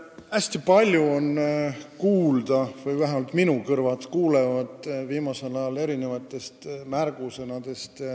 Hästi palju on viimasel ajal kuulda – või vähemalt minu kõrvad on kuulnud – erinevaid märgusõnu.